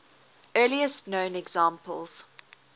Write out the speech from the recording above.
earliest known examples